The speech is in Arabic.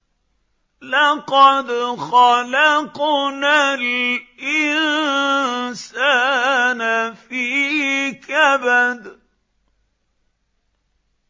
لَقَدْ خَلَقْنَا الْإِنسَانَ فِي كَبَدٍ